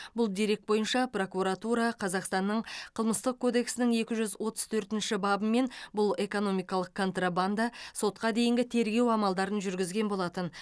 бұл дерек бойынша прокуратура қазақстанның қылмыстық кодексінің екі жүз отыз төртінші бұл бабымен экономикалық контрабанда сотқа дейінгі тергеу амалдарын жүргізген болатын